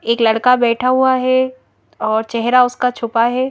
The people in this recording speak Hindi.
एक लड़का बैठा हुआ है और चेहरा उसका छुपा है।